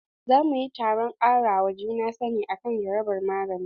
Za mu yi taron kara wa juna sani akan jarabar magani.